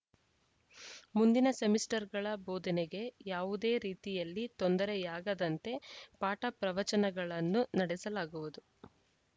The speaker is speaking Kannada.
ಮುಂದಿನ ಸೆಮಿಸ್ಟರ್‌ಗಳ ಬೋಧನೆಗೆ ಯಾವುದೇ ರೀತಿಯಲ್ಲಿ ತೊಂದರೆಯಾಗದಂತೆ ಪಾಠ ಪ್ರವಚನಗಳನ್ನು ನಡೆಸಲಾಗುವುದು